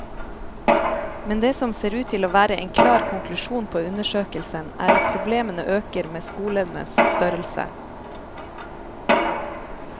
Men det som ser ut til å være en klar konklusjon på undersøkelsen er at problemene øker med skolenes størrelse.